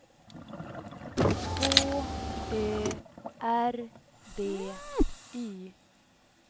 H Ö R B Y